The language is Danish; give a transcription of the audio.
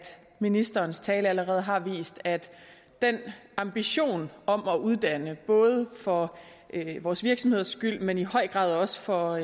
ministerens tale allerede har vist at den ambition om at uddanne både for vores virksomheder skyld men i høj grad også for